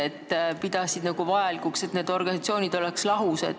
Nad pidasid vajalikuks, et need organisatsioonid oleksid lahus.